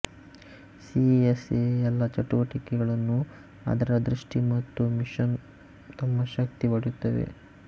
CSA ಎಲ್ಲಾ ಚಟುವಟಿಕೆಗಳನ್ನು ಅದರ ದೃಷ್ಟಿ ಮತ್ತು ಮಿಷನ್ ತಮ್ಮ ಶಕ್ತಿ ಪಡೆಯುತ್ತವೆ